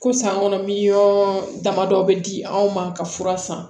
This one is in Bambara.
Ko san kɔnɔ miliyɔn damadɔ bɛ di anw ma ka fura san